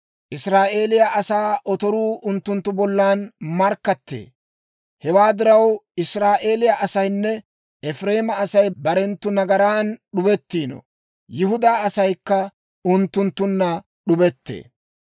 Israa'eeliyaa asaa otoruu unttunttu bollan markkattee; hewaa diraw, Israa'eeliyaa asaynne Efireema Asay barenttu nagaran d'ubettiino; Yihudaa asaykka unttunttunna d'ubettee.